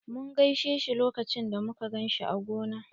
Mun gaishe shi lokacin da muka ganshi a gona.